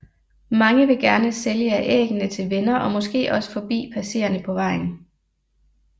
Mange vil gerne sælge af æggene til venner og måske også forbi passerende på vejen